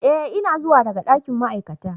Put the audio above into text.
Ee ina zuwa daga dakin ma'aikata,